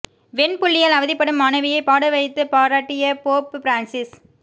வெண் புள்ளியால் அவதிப்படும் மாணவியை பாட வைத்து பாராட்டிய போப் பிரான்சிஸ்